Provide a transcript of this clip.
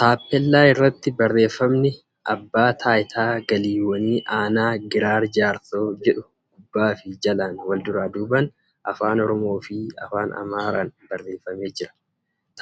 Taappeellaa irratti barreeffamni ' Abbaa Taayitaa Galiiwwan Aanaa Giraar Jaarsoo ' jedhu gubbaa fi jalaan wal duraa duubaan Afaan Oromoo fi Afaan Amaaraan barreeffamee jira.